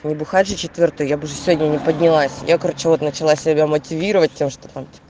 не бухать же я уже сегодня не поднялась я короче вот начала себя мотивировать тем что